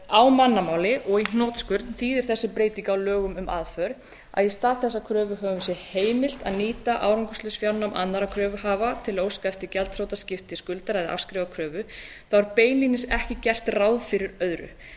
á mannamáli og í hnotskurn þýðir þessi breyting á lögum um aðför að í stað þess að kröfuhöfum sé heimilt að nýta árangurslaus fjárnám annarrar kröfuhafa til að óska eftir gjaldþrotaskipti skuldara eða að afskrifa kröfu er beinlínis ekki gert ráð fyrir öðru en